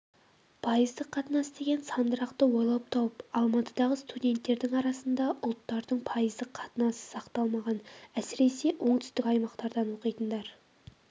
пайыздық қатынас деген сандырақты ойлап тауып алматыдағы студенттердің арасында ұлттардың пайыздық қатынасы сақталмаған әсіресе оңтүстік аймақтардан оқитындар